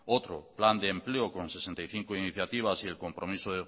otro plan de empleo con sesenta y cinco iniciativas y el compromiso